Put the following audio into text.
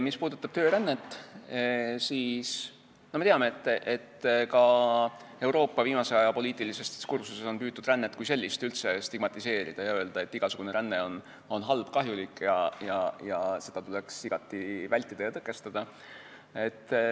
Mis puudutab töörännet, siis me teame, et ka Euroopa viimase aja poliitilises diskursuses on püütud rännet kui sellist üldse stigmatiseerida ja öelda, et igasugune ränne on halb ja kahjulik ning seda tuleks igati vältida ja tõkestada.